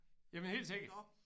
Jamen helt sikkert